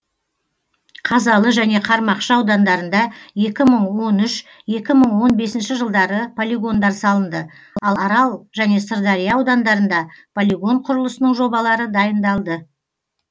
қазалы және қармақшы аудандарында екі мың он үш екі мың он бесінші жылдары полигондар салынды ал арал және сырдария аудандарында полигон құрылысының жобалары дайындалды